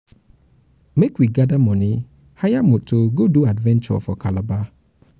make we gather money hire moto go do adventure for calabar